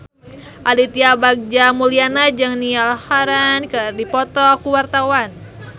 Aditya Bagja Mulyana jeung Niall Horran keur dipoto ku wartawan